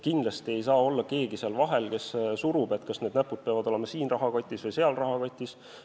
Kindlasti ei saa seal vahel olla keegi, kes surub peale, et need näpud peavad olema kas siin rahakotis või seal rahakotis.